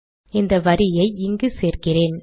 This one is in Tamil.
இந்த வரியை இங்கு சேர்க்கிறேன்